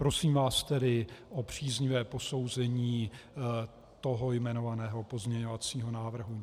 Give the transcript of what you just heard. Prosím vás tedy o příznivé posouzení toho jmenovaného pozměňovacího návrhu.